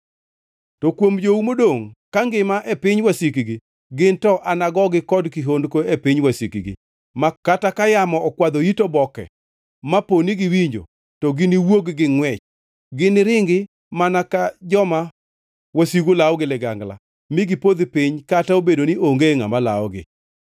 To kuom jou modongʼ ka ngima e piny wasikgi, ginto anagogi kod kihondko e piny wasikgi, ma kata ka yamo okwadho it oboke maponi giwinjo, to giniwuog gi ngʼwech. Giniringi mana ka joma wasigu lawo gi ligangla mi gipodh piny kata obedo ni onge ngʼama lawogi.